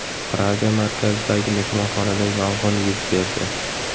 Praga markazidagi mehmonxonada yong‘in yuz berdi.